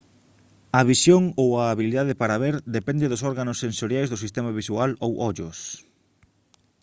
a visión ou a habilidade para ver depende dos órganos sensoriais do sistema visual ou ollos